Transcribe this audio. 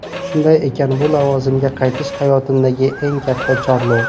Shunday ekan bu lavozimga qaytish hayotimdagi eng katta chorlov.